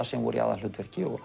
sem voru í aðalhlutverki